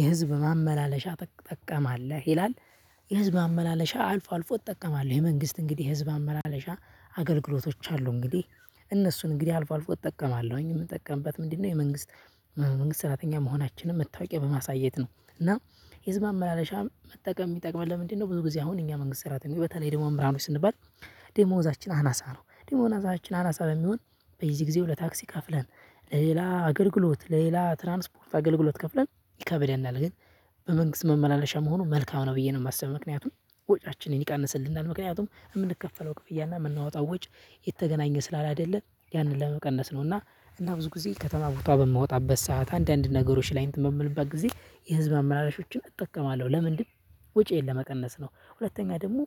የህዝብ ማመላለሻ ጠቀማለህ ይላል? የህዝብ ማመላለሻ አልፎ አልፎ እጠቀማለሁ የመንግስት እንግዲህ የህዝብ አመላለሻ አገልግሎቶች አሉ እንግዲህ እነሱን እንግዲህ አልፎ አልፎ እጠቀማለሁኝ። እምጠቀምበት ምንድነው? የመንግስት የመንግስት ሰራተኛ መሆናችንን መታወቂያ በማሳየት ነው። እና የህዝብ ማመላለሻ መጠቀም እሚጠቅመን ለምንድን ነው? ብዙ ጊዜ አሁን እኛ መንግስት ሰራተኞች በተለይ ደግሞ መምራኖች ስንባል ደግሞዛችን አናሳ ነው ደግሞናአዛችን አናሳ በሚሆን በዚህ ጊዜው ለታክሲ ከፍለን ለሌላ አገልግሎት ለሌላ ትራንስፖርት አገልግሎት ከፍለን ይከብደናል። ግን በመንግስት መመላለሻ መሆኑን መልካም ነው ብዬ ነው እማስብ። ምክንያቱም ወጪያችንን ይቀንስልናል ምክንያቱም እምንከፈለው ክፍያና እምናወጣው ወጪ የተገናኘ ስላለ አይደለ ያንን ለመቀነስ ነው። ነውና እና ብዙ ጊዜ ከተማ ቦታው በምወጣበት ሰዓት አንዳንድ ነገሮች ላይ እንትን በምልበት ጊዜ የህዝብ አመላላሾችን እጠቀማለሁ። ለምንድን ወጪዬን ለመቀነስ ነው። ሁለተኛ ደግሞ